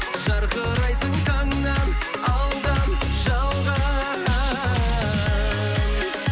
жарқырайсың таңнан алдан жалған